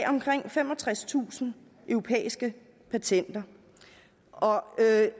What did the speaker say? omkring femogtredstusind europæiske patenter